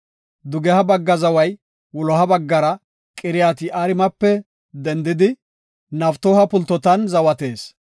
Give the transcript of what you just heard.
Dugeha bagga zaway wuloha baggara Qiriyaat-Yi7aarimepe dendidi, Naftooha pultotan zawatees.